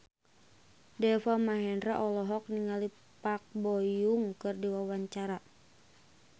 Deva Mahendra olohok ningali Park Bo Yung keur diwawancara